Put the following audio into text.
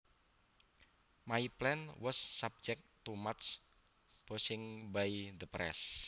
My plan was subject to much bashing by the press